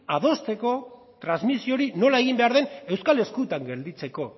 adosteko transmisio hori nola egin behar den euskal eskuetan gelditzeko